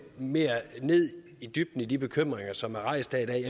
mere i dybden i de bekymringer som er rejst